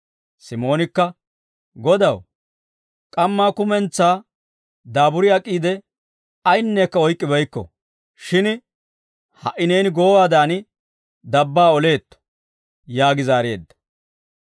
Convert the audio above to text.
Simoonikka, «Godaw, k'ammaa kummentsaa daaburi ak'iide ayinekka oyk'k'ibeykko; shin ha"i Neeni goowaadan dabbaa oleetto» yaagi zaareedda.